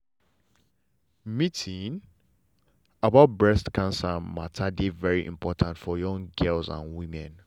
meeting about breast cancer matter dey very important for young girls and women.